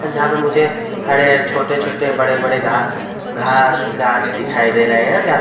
जहाँ पे मुझे हरे-हरे छोटे-छोटे बड़े-बड़े घा घास गाछ दिखाई दे रहें हैं जहाँ --